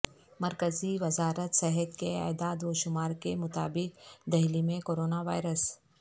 مرکزی وزارت صحت کے اعداد و شمار کے مطابق دہلی میں کورونا وائرس